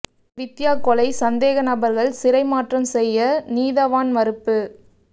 வித்தியா கொலை சந்தேக நபர்கள் சிறை மாற்றம் செய்ய நீதவான் மறுப்பு